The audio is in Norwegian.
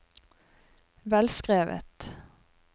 velskrevet